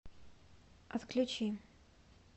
отключи